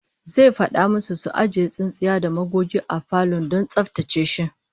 Zai fada musu su ajiye tsintsiya da magogi a falon don tsaftace shi